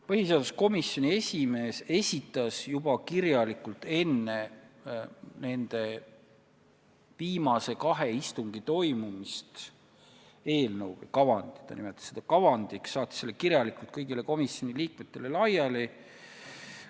Põhiseaduskomisjoni esimees esitas juba enne kahe viimase istungi toimumist kirjalikult eelnõu kavandi – ta nimetas seda kavandiks – ja saatis selle kõigile komisjoni liikmetele laiali.